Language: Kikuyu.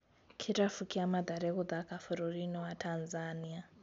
Kĩrabu kĩa Mathare gũthaka bũrũri-inĩ wa Tanzania